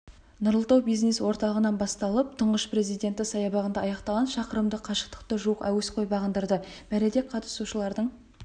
нұрлы тау бизнес орталығынан басталып тұңғыш президенті саябағында аяқталған шақырымдық қашықтықты жуық әуесқой бағындырды мәреде қатысушылардың